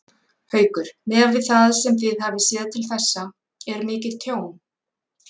Haukur: Miðað við það sem þið hafið séð til þessa, er mikið tjón?